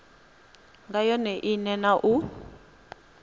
nga yone ine na u